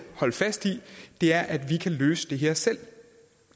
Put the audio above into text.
holde fast i er at vi kan løse det her selv